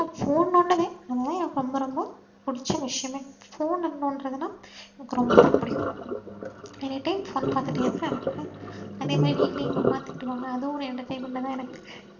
phone நோண்டுவேன் அதுத எனக்கு ரொம்ப ரொம்ப புடிச்ச விஷயமே phone நோன்றதுன்னா எனக்கு ரொம்ப புடிக்கும். any time phone பாத்துடே தா இருப்பேன் அதேமாறி வீட்டுல எங்க அம்மா திட்டுவாங்க அதுவும் ஒரு entertainment தா எனக்கு